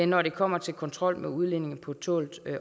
når det kommer til kontrol med udlændinge på tålt